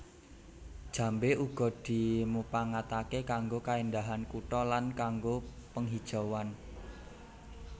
Jambé uga dimupangataké kanggo kaéndahan kutha lan kanggo penghijauan